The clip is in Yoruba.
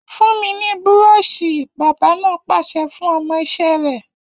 Fún mi ní búrọ́ọ̀ṣì!, bábà náà pàṣẹ fún ọmọ iṣẹ́ rẹ̀